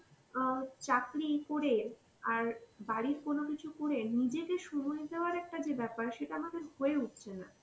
অ্যাঁ চাকরি করে আর বাড়ির কোন কিছু করে নিজেকে সময় দেওয়ার একটা যে ব্যাপার সেটা আমার কাছে হয়ে উঠছে না.